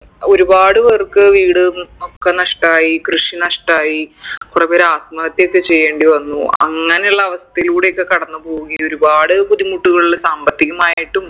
ഒരുപാട് പേർക്ക് വീട് ഒക്കെ നഷ്ട്ടായി കൃഷി നഷ്ട്ടായി കൊറെ പേര് ആത്മഹത്യയൊക്കെ ചെയ്യേണ്ടി വന്നു അങ്ങനുള്ള അവസ്ഥയിലൂടൊക്കെ കടന്ന് പോവുകയും ഒരുപാട് ബുദ്ധിമുട്ടുകൾ സാമ്പത്തികമായിട്ടും